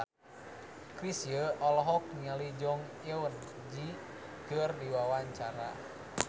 Chrisye olohok ningali Jong Eun Ji keur diwawancara